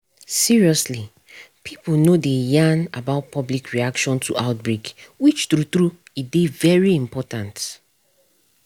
seriously pipo no dey yarn about public reaction to outbreak which true true e dey very important